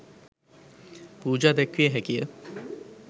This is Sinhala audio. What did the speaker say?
පූජා දැක්විය හැකිය.